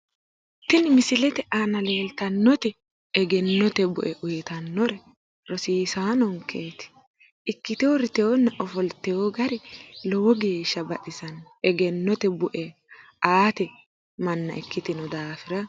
Tini misilete aana leeltannoti egennote bu’e uyiitannori rosisaanonkeeti ikkite uurriteyoonna ofoltino gari lowo geeshsha baxisanno egennote bu’e aate manna ikkitino daafira.